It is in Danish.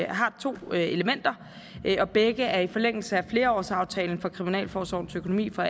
har to elementer og begge er i forlængelse af flerårsaftalen for kriminalforsorgens økonomi for